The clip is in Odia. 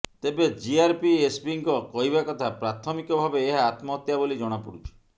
ତେବେ ଜିଆରପି ଏସ୍ପିଙ୍କ କହିବା କଥା ପ୍ରାଥମିକ ଭାବେ ଏହା ଆତ୍ମହତ୍ୟା ବୋଲି ଜଣାପଡ଼ୁଛି